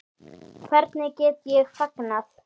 Hvernig get ég fagnað?